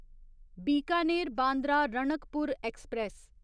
Bikaner Bandra Ranakpur express